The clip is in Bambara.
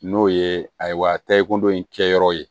N'o ye ayiwa taaye ko dɔ in kɛ yɔrɔ ye